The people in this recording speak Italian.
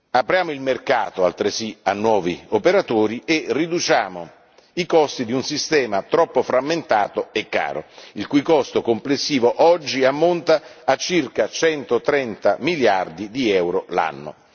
Apriamo il mercato altresì a nuovi operatori e riduciamo i costi di un sistema troppo frammentato e caro, il cui costo complessivo oggi ammonta a circa 130 miliardi di euro l'anno.